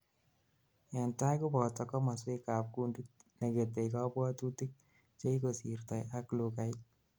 entai koboto komoswek ab kundit negetei kabwatutik, chekikosirtoi ak lugait